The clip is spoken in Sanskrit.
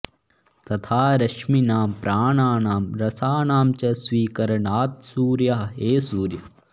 तथा रश्मीनां प्राणानां रसानां च स्वीकरणात्सूर्यः हे सूर्य